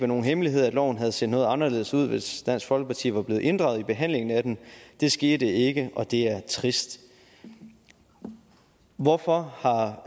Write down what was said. nogen hemmelighed at loven havde set noget anderledes ud hvis dansk folkeparti var blevet inddraget i behandlingen af den det skete ikke og det er trist hvorfor har